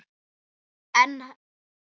En enn beið hann.